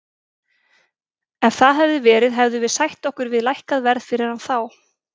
Ef það hefði verið þá hefðum við sætt okkur við lækkað verð fyrir hann þá.